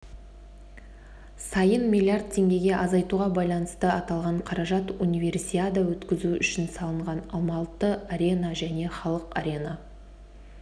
сайын миллиард теңгеге азайтуға байланысты аталған қаражат универсиада өткізу үшін салынған алматы-арена және халық арена